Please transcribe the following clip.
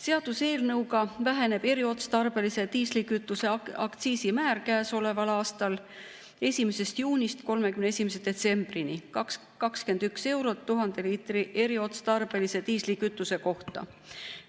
Seaduseelnõuga väheneb eriotstarbelise diislikütuse aktsiisimäär käesoleval aastal 1. juunist 31. detsembrini 21 eurot 1000 liitri eriotstarbelise diislikütuse kohta.